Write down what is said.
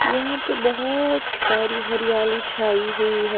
यहां पे बहुत सारी हरियाली छाई हुई है।